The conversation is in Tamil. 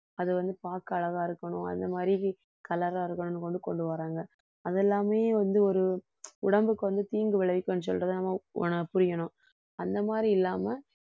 அது வந்து பார்க்க அழகா இருக்கணும் அந்த மாதிரி colour ஆ இருக்கணுன்னு கொண்டு வர்றாங்க அது எல்லாமே வந்து ஒரு உடம்புக்கு வந்து தீங்கு விளைவிக்குன்னு சொல்றதை நம்ம உண~ புரியணும் அந்த மாதிரி இல்லாம